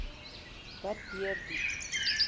wat deur die